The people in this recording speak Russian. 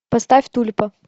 поставь тульпа